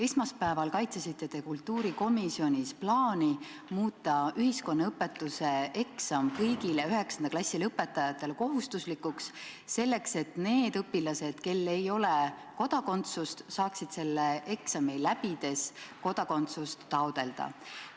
Esmaspäeval kaitsesite te kultuurikomisjonis plaani muuta ühiskonnaõpetuse eksam kõigile 9. klassi lõpetajatele kohustuslikuks, et need õpilased, kel ei ole kodakondsust, saaksid selle eksami läbides kodakondsust taotleda.